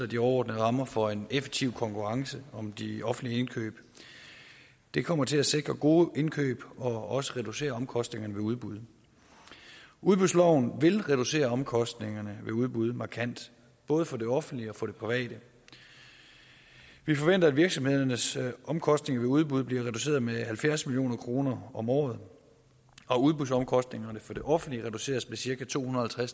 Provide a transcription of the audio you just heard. de overordnede rammer for en effektiv konkurrence om de offentlige indkøb det kommer til at sikre gode indkøb og også reducere omkostningerne ved udbuddet udbudsloven vil reducere omkostningerne ved udbud markant både for det offentlige og for det private vi forventer at virksomhedernes omkostninger ved udbud bliver reduceret med halvfjerds million kroner om året og at udbudsomkostningerne for det offentlige bliver reduceret med cirka to hundrede og